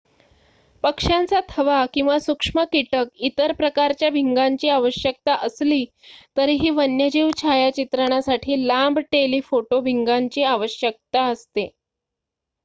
पक्ष्यांचा थवा किंवा सूक्ष्म कीटक इतर प्रकारच्या भिंगांची आवश्यकता असली तरीही वन्यजीव छायाचित्रणासाठी लांब टेलीफोटो भिंगांची आवश्यकता असते